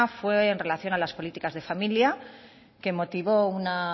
fue en relación a las políticas de familia que motivó una